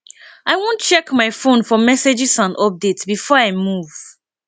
i wan check my fone for messages and updates before i move